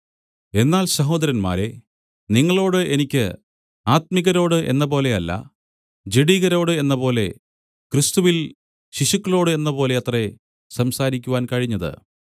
എന്നാൽ സഹോദരന്മാരേ നിങ്ങളോട് എനിക്ക് ആത്മികരോട് എന്നപോലെ അല്ല ജഡികരോട് എന്നപോലെ ക്രിസ്തുവിൽ ശിശുക്കളോട് എന്നപോലെ അത്രേ സംസാരിക്കുവാൻ കഴിഞ്ഞത്